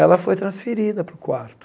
Ela foi transferida para o quarto.